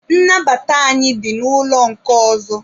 Nnabata anyị dị n'ụlọ nke ọzọ.